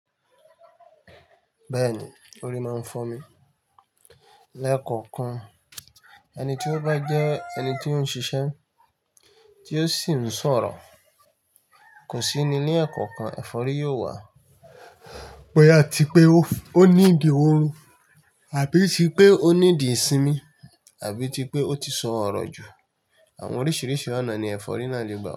Bẹ́ẹ̀ni, orí máa ń fọ́mi. Lẹ́kọ̀ọ̀kan, ẹni tí ó bá jẹ́ ẹni tí ó ń ṣiṣẹ́ tí ó sì ń sọ̀rọ̀, kò síni ní ẹ̀kọ̀kan, ẹ̀fọ́rí yóò wà. Pẹ́yà tí pé ó ní ìdí òru àbí ti pé ó ní ìdí ìsinmi àbí ti pé ó ti sọ̀rọ̀ jù. Àwọn oríṣìíríṣìí ọ̀nà ni ẹ̀fọ́rí náà lè gbà.